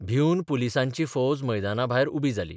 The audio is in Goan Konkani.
भिवन पुलीसांची फौज मैदानाभायर उबी जाली.